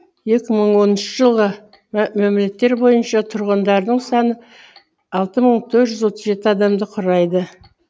екі мың оныншы жылғы мәліметтер бойынша тұрғындарының саны алты мың төрт жүз жеті адамды құрайды